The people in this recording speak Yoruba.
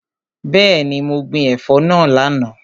Bẹẹni, mo gbin ẹ̀fọ́ náà lánàá.